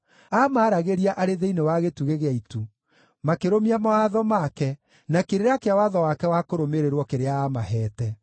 Aamaragĩria arĩ thĩinĩ wa gĩtugĩ kĩa itu; makĩrũmia mawatho make na kĩrĩra kĩa watho wake wa kũrũmĩrĩrwo kĩrĩa aamaheete.